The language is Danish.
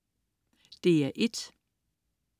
DR1: